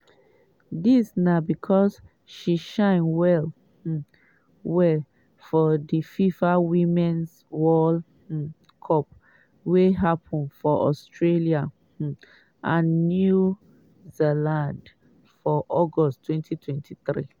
dis na becos she shine well um well for di fifa women's world um cup wey happun for australia um and new zealand for august 2023.